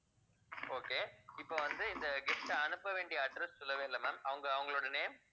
okay இப்ப வந்து இந்த gift அ அனுப்ப வேண்டிய address சொல்லவே இல்ல ma'am அவங்க அவங்களோட name